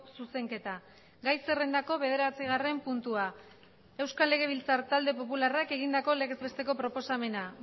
zuzenketa gai zerrendako bederatzigarren puntua euskal legebiltzar talde popularrak egindako legez besteko proposamena